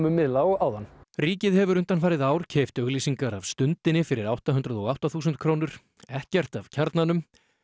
miðla og áðan ríkið hefur undanfarið ár keypt auglýsingar af Stundinni fyrir átta hundruð og átta þúsund krónur ekkert af Kjarnanum